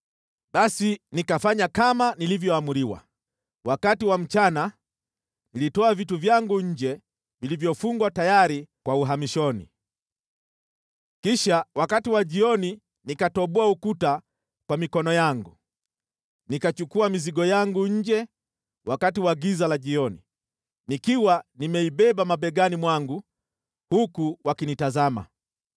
Basi nikafanya kama nilivyoamriwa. Wakati wa mchana nilitoa vitu vyangu nje vilivyofungwa tayari kwa uhamishoni. Kisha wakati wa jioni nikatoboa ukuta kwa mikono yangu. Nikachukua mizigo yangu nje wakati wa giza la jioni, nikiwa nimeibeba mabegani mwangu huku wakinitazama.